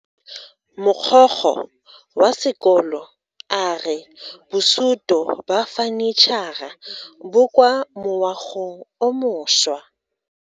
Mogokgo wa sekolo a re bosuto ba fanitšhara bo kwa moagong o mošwa.